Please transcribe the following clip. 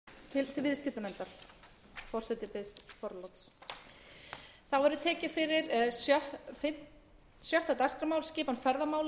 virðulegi forseti ég mæli hér fyrir frumvarpi til laga um breytingu á lögum um skipan ferðamála